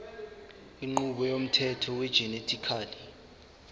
inqubo yomthetho wegenetically